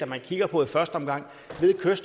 man kigger på i første omgang og